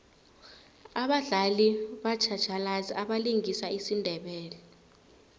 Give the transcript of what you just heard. abadlali batjhatjhalazi abalingisa isindebele